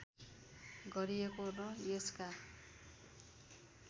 गरिएको र यसका